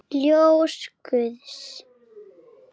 Ljós guðs.